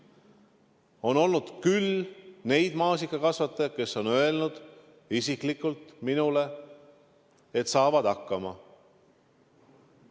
On olnud küll neid maasikakasvatajaid, kes on öelnud isiklikult minule, et nad saavad hakkama.